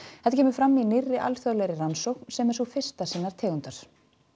þetta kemur fram í nýrri alþjóðlegri rannsókn sem er sú fyrsta sinnar tegundar